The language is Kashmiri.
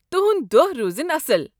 تُہُنٛد دۄہ روٗزِن اصٕل۔